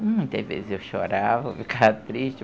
Muitas vezes eu chorava, ficava triste.